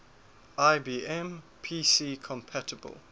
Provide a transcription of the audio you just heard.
ibm pc compatible